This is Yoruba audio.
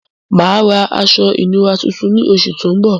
Mà á ra aṣọ ìnura tuntun ní oṣù tó ń bọ̀.